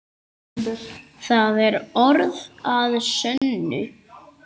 Það er orð að sönnu.